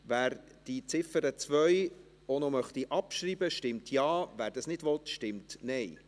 Wer die Ziffer 2 auch noch abschreiben möchte, stimmt Ja, wer das nicht möchte, stimmt Nein.